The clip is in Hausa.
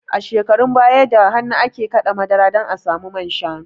A shekarun baya da hannu ake kaɗa madara don a samu manshanu